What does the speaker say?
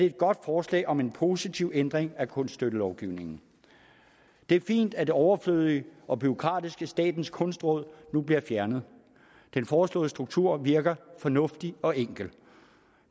et godt forslag om en positiv ændring af kunststøttelovgivningen det er fint at det overflødige og bureaukratiske statens kunstråd nu bliver fjernet den foreslåede struktur virker fornuftig og enkel